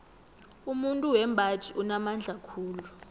umuntu wembaji unamandla khulu